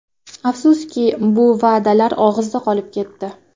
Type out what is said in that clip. Afsuski, bu va’dalar og‘izda qolib ketdi.